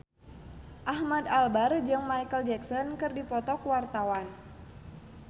Ahmad Albar jeung Micheal Jackson keur dipoto ku wartawan